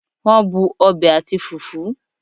Won bu obe ati fufu